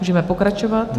Můžeme pokračovat.